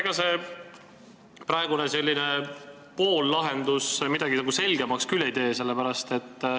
Ega see praegune poollahendus midagi nagu selgemaks küll ei tee.